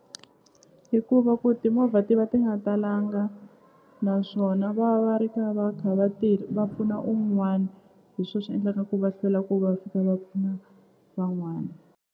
I ku va ku timovha ti va ti nga talanga naswona va va ri ka va kha va pfuna un'wana hi swo swi endlaka ku va hlwela ku va fika va pfuna van'wana.